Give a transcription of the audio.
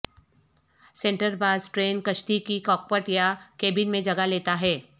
سینٹربار ٹربن کشتی کی کاکپٹ یا کیبن میں جگہ لیتا ہے